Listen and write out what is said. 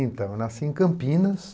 Então, eu nasci em Campinas,